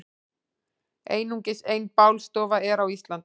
Einungis ein bálstofa er á Íslandi.